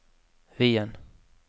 Wien